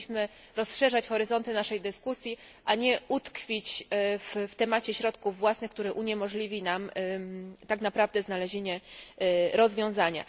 Powinniśmy rozszerzać horyzonty naszej dyskusji, a nie utkwić w temacie środków własnych, który uniemożliwi nam tak naprawdę znalezienie rozwiązania.